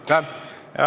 Aitäh!